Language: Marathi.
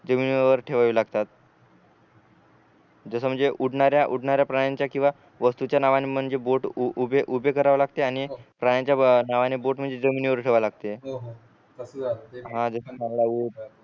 जमीनीवर ठेवावी लागतात जस म्हणजे उडणाऱ्या उडणाऱ्या प्राण्यांचा किंवा वस्तूंच्या नावांनी म्हणजे बोट उभे उभे करावे लागते आणि प्राण्यांच्या नावाने बोट म्हणजे जमीनीवर ठेवाव लागते